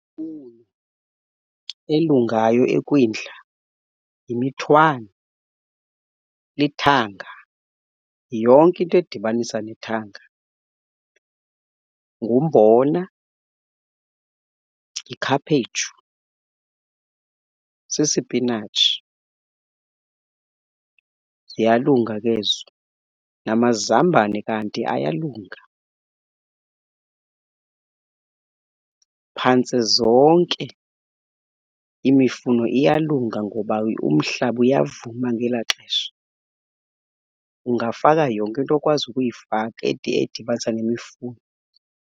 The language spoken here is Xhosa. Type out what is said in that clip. Elungayo eKwindla yimithwani, lithanga, yonke into edibanisa nethanga. Ngumbona, yikhaphetshu, sisipinatshi ziyalunga ke ezo. Namazambani kanti ayalunga phantse zonke imifuno iyalunga ngoba umhlaba uyavuma ngelaa xesha. Ungafaka yonke into okwazi ukuyifaka edibanisa nemifuno.